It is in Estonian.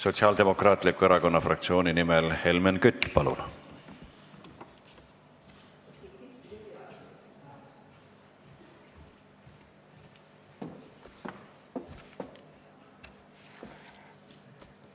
Sotsiaaldemokraatliku Erakonna fraktsiooni nimel Helmen Kütt, palun!